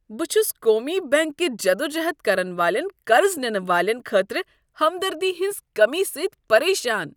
بہٕ چھُس قومی بینک کہ جدوجہد کرن والٮ۪ن قرض نِنہٕ والین خٲطرٕ ہمدردی ہنٛز کٔمی سۭتۍ پریشان۔